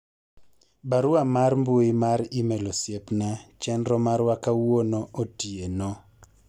barua mar mbui mar email osiepna chenro marwa kawuono otieno